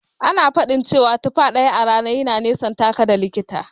Ana faɗin cewa tufa ɗaya a rana yana nisantaka da likita.